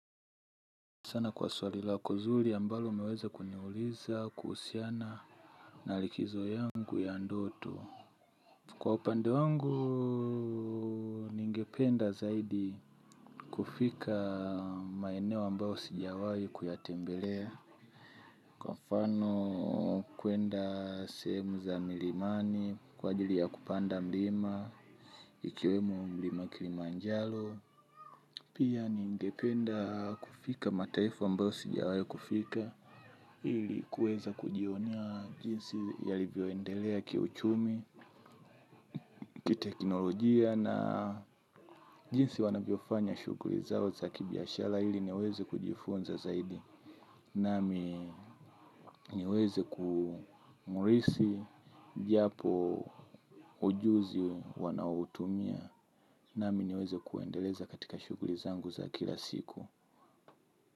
Sana kwa swali lako nzuri ambalo umeweza kuniuliza, kuhusiana, na likizo yangu ya ndoto. Kwa upande wangu, ningependa zaidi kufika maeneo ambao sijawai kuyatembelea. Kwa mfano, kwenda sehemu za milimani, kwa ajili ya kupanda milima, ikiwemo mlima kilimanjalo. Pia ningependa kufika mataifa ambayo sijawai kufika. Ili kuweza kujionea jinsi yalivyoendelea kiuchumi, kiteknolojia na jinsi wanavyofanya shughuli zao za kibiashara ili niweze kujifunza zaidi. Nami niweze kumurisi japo ujuzi wanaoutumia. Nami niweze kuendeleza katika shuguli zangu za kila siku.